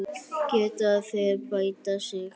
Geta þeir bætt sig?